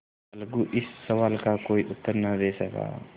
अलगू इस सवाल का कोई उत्तर न दे सका